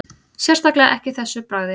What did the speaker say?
Sérstaklega ekki þessu bragði